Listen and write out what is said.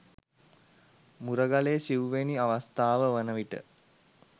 මුරගලේ සිවුවැනි අවස්ථාව වන විට